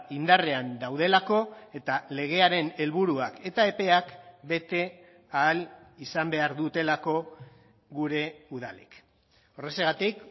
indarrean daudelako eta legearen helburuak eta epeak bete ahal izan behar dutelako gure udalek horrexegatik